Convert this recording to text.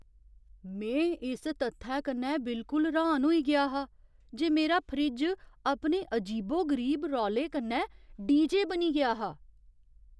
में इस तत्थै कन्नै बिल्कुल र्‌हान होई गेआ हा जे मेरा फ्रिज अपने अजीबो गरीब रौले कन्नै डीजे बनी गेआ हा!